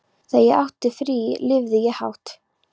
Þegar ég átti frí lifði ég hátt.